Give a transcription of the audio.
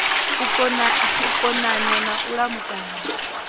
u konanya na u lamukanya